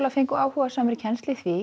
fengu áhugasamir kennslu í því